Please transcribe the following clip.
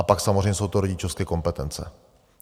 A pak samozřejmě jsou to rodičovské kompetence.